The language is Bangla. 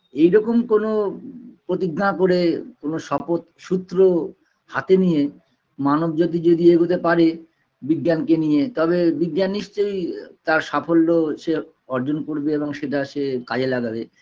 এইরকম কোনো প্রতিজ্ঞা করে কোনো শপথ সূত্র হাতে নিয়ে মানব জাতি যদি এগোতে পারে বিজ্ঞানকে নিয়ে তবে বিজ্ঞান নিশ্চয়ই তার সাফল্য সে অর্জন করবে এবং সেটা সে কাজে লাগাবে